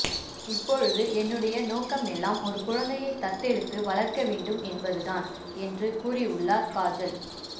இப்பொழுது என்னுடைய நோக்கமெல்லாம் ஒரு குழந்தையை தத்தெடுத்து வளர்க்க வேண்டும் என்பது தான் என்று கூறியுள்ளார் காஜல்